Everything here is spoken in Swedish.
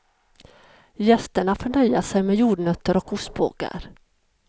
Gästerna får nöja sig med jordnötter och ostbågar.